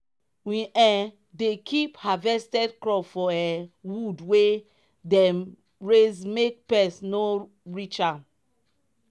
we um dey keep harvested crop for um wood wey dem raise make pest no reach am.